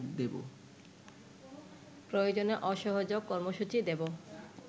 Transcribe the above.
প্রয়োজনে অসহযোগ কর্মসূচী দেব